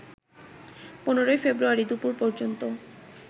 ১৫ February দুপুর পর্যন্ত